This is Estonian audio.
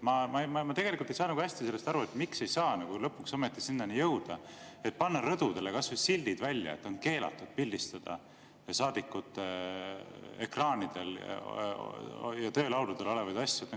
Ma ei saa hästi aru, miks me ei saa lõpuks ometi panna rõdudele kas või silte, et on keelatud pildistada saadikute ekraanidel ja töölaudadel olevaid asju.